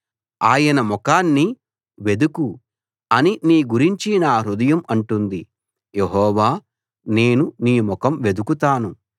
ఆయన ముఖాన్ని వెదుకు అని నీ గురించి నా హృదయం అంటుంది యెహోవా నేను నీ ముఖం వెదుకుతాను